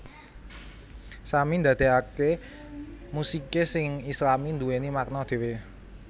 Sami ndadekake musike sing Islami nduweni makna dhewe